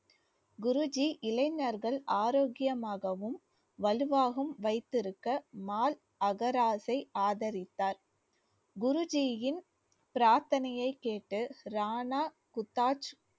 குருஜி இளைஞர்கள் ஆரோக்கியமாகவும் வலுவாகவும் வைத்திருக்க மால் அகராஜை ஆதரித்தார் குரு ஜியின் பிரார்த்தனையைக் கேட்டு ரானா குத்தாஜ்